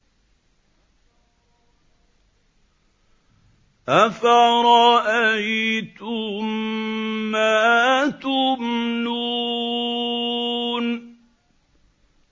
أَفَرَأَيْتُم مَّا تُمْنُونَ